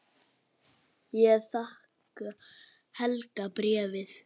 Ég þakka Helga bréfið.